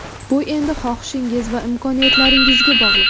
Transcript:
Bu endi xohishingiz va imkoniyatlaringizga bog‘liq.